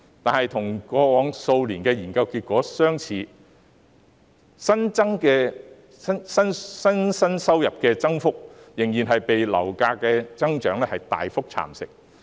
可是，與過往數年的研究結果相似，新生代收入的增幅仍然被上升的樓價大幅蠶食。